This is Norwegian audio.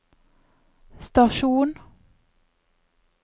stasjon